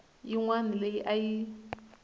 yin wana leyi a yi